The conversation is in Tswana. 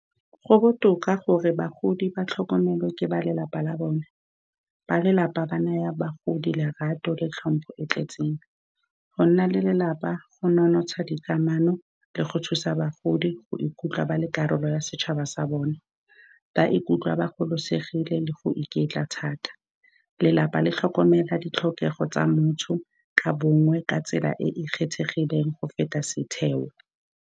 Go botoka gore bagodi ba tlhokomelwe ke ba lelapa la bone. Ba lelapa ba naya bagodi lerato le tlhompho e e tletseng. Go nna lelapa go nonotsha dikamano le go thusa bagodi go ikutlwa ba le karolo ya setšhaba sa bone. Ba ikutlwa ba gololosegile le go iketla thata. Lelapa le tlhokomela ditlhokego tsa motho ka bongwe ka tsela e e kgethegileng go feta setheo.